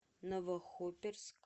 новохоперск